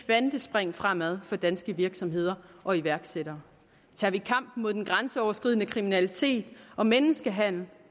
kvantespring fremad for danske virksomheder og iværksættere tager vi kampen mod den grænseoverskridende kriminalitet og menneskehandel